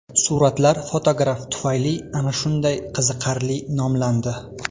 Suratlar fotograf tufayli ana shunday qiziqarli nomlandi.